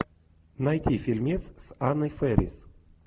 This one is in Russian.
найти фильмец с анной фэрис